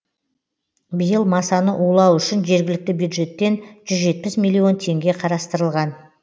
биыл масаны улау үшін жергілікті бюджеттен жүз жетпіс миллион теңге қарастырылған